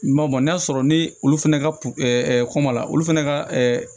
M'o ma n'a sɔrɔ ni olu fana ka kɔma la olu fana ka